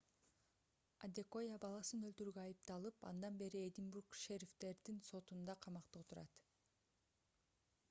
адекоя баласын өлтүрүүгө айыпталып андан бери эдинбург шерифтердин сотунда камакта отурат